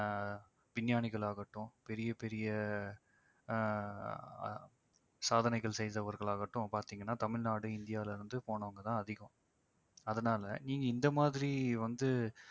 ஆஹ் விஞ்ஞானிகள் ஆகட்டும் பெரிய பெரிய ஆஹ் ஆஹ் சாதனைகள் செய்தவர்களாகட்டும் பார்த்தீங்கன்னா தமிழ்நாடு இந்தியாவிலிருந்து போனவங்க தான் அதிகம். அதனால நீங்க இந்த மாதிரி வந்து